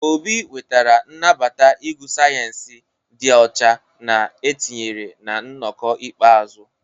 Obi nwetara nnabata ịgụ sayensị dị ọcha na etinyere na nnọkọ ikpeazụ.